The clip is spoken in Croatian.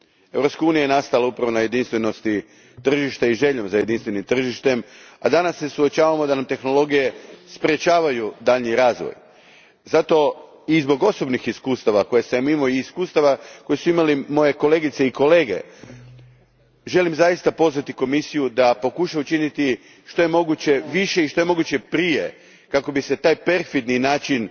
Europska unija je nastala upravo na jedinstvenosti tržišta i željom za jedinstvenim tržištem, a danas se suočavamo s tim da nam tehnologije sprečavaju daljnji razvoj. Zato, a i zbog osobnih iskustava koje sam imao i iskustava koje su imali moje kolegice i kolege, želim zaista pozvati Komisiju da pokuša učiniti što je moguće više i što je moguće prije kako bi se taj perfidni način